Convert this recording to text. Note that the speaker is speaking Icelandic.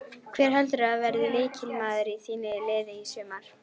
Hver heldurðu að verði lykilmaður í þínu liði í sumar?